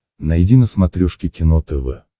найди на смотрешке кино тв